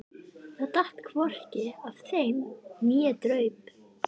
Það datt hvorki af þeim né draup.